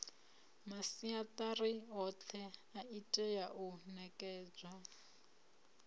masiatari othe itea u nekedzwa